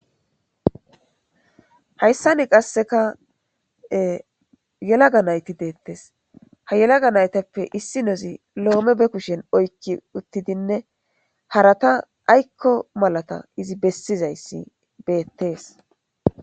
hayssani qasseka yelaga nayti deettes ha yelaga naytappe issi nozi loome be kushen oykki uttidinne harata aykko malata izi bessizayssi beettees